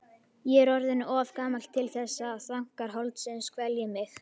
Ég er orðinn of gamall til þess að þankar holdsins kvelji mig.